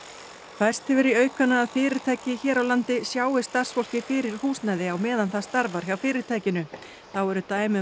færst hefur í aukana að fyrirtæki hér á landi sjái starfsfólki fyrir húsnæði á meðan það starfar hjá fyrirtækinu þá eru dæmi um